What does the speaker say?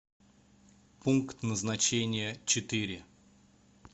пункт назначения четыре